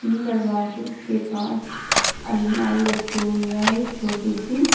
दरवाजो के पास अलमारी रखी हुई है एक छोटी सी।